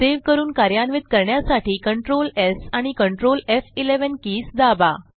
save करून कार्यान्वित करण्यासाठी Ctrl स् आणि Ctrl एफ11 कीज दाबा